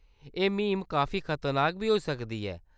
एह्‌‌ म्हीम काफी खतरनाक बी होई सकदी ऐ।